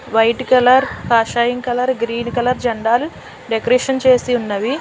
White colour కాషాయం colour green colour జెండాలు decoration చేసి ఉన్నవి.